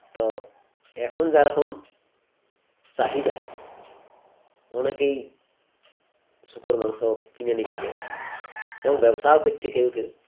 তো এখন যারকম চাহিদা অনেকেই শূকর মাংস কিনে নিচ্ছে এবং ব্যবসা ও করছে কেউ কেউ